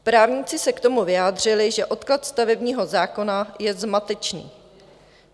Právníci se k tomu vyjádřili, že odklad stavebního zákona je zmatečný.